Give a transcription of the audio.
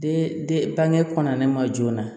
Den den bange kɔnɔnana ma joona